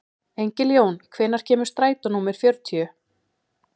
Engiljón, hvenær kemur strætó númer fjörutíu?